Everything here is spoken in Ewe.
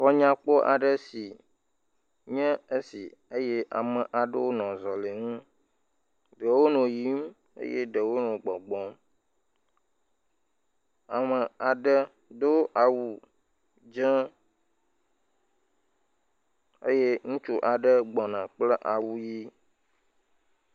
Xɔ nyakpɔ aɖe sin ye esi eye ame aɖewo nɔ zɔli ŋu, ɖewo nɔ yim eye ɖewo nɔ gbɔgbɔm. Ame aɖe do awu dze eye ŋutsu aɖe gbɔna kple awu ʋɛ̃.